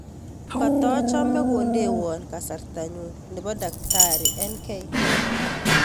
Kotochome kondewon kasartanyun nepo daktari n.k